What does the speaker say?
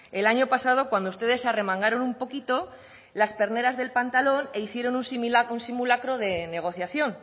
el año pasado cuando ustedes se arremangaron un poquito las perneras del pantano e hicieron un simulacro de negociación